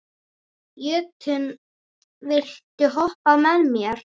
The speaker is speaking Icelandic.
Jötunn, viltu hoppa með mér?